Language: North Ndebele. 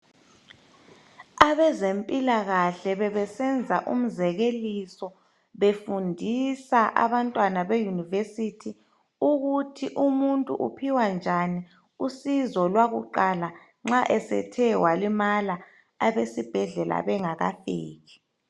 Abezempilakahle bebesenza umzekeliso befundisa abantwana beYunivesi ukuthi umuntu uphiwa njani usizo lwakuqala nxa esethe walimala abesibhedlela bengakafiki.